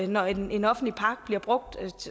når en en offentlig park bliver brugt